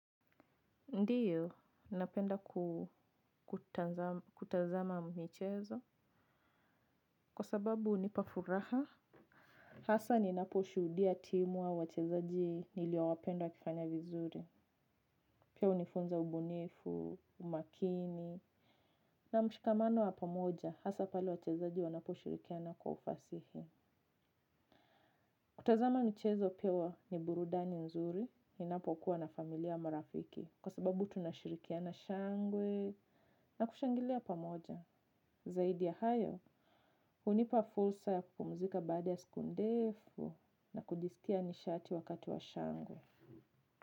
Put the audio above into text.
Ndiyo, napenda kutazama michezo, kwa sababu hunipafuraha. Hasa ninaposhudia timu au wachezaji niliowapenda wakifanya vizuri. Pia hunifunza ubunifu, umakini. Na mshikamano wa pamoja, hasa pale wachezaji wanapo shirikiana kwa ufasihi. Kutazama michezo pia ni burudani nzuri, ninapokuwa na familia, marafiki. Kwa sababu tunashirikiana shangwe na kushangilia pamoja. Zaidi ya hayo, hunipa fursa ya kupumzika baada ya siku ndefu na kujisikia nishati wakati wa shangwe.